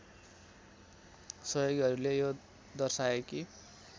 सहयोगीहरूले यो दर्शाए कि